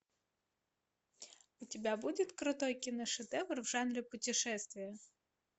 у тебя будет крутой киношедевр в жанре путешествия